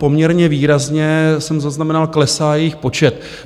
Poměrně výrazně - jsem zaznamenal - klesá jejich počet.